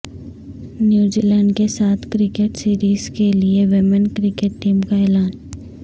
نیوزی Zealand کے ساتھ cricket series کے لیے ویمن کرکٹ ٹیم کا اعلان